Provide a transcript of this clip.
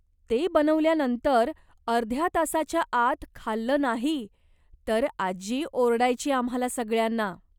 ते बनवल्यानंतर अर्ध्या तासाच्याआत खाल्लं नाही तर आजी ओरडायची आम्हाला सगळ्यांना.